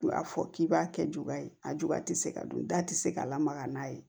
U y'a fɔ k'i b'a kɛ juguya ye a juguya tɛ se ka dun da ti se ka lamaga n'a ye